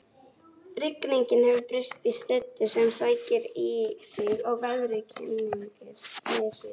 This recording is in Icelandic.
Rigningin hefur breyst í slyddu sem sækir í sig veðrið og kyngir niður snjó